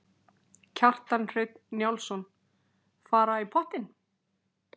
Kjartan Hreinn Njálsson: Fara í pottinn?